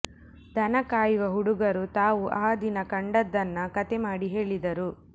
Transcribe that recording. ದನ ಕಾಯುವ ಹುಡುಗರು ತಾವು ಆ ದಿನ ಕಂಡುದನ್ನ ಕಥೆ ಮಾಡಿ ಹೇಳಿದರು